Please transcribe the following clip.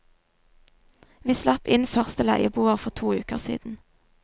Vi slapp inn første leieboer for to uker siden.